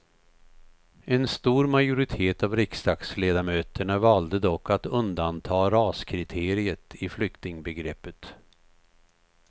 En stor majoritet av riksdagsledamöterna valde dock att undanta raskriteriet i flyktingbegreppet.